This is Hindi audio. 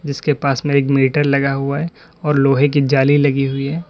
इसके पास में एक मीटर लगा हुआ है और लोहे की जाली लगी हुई है।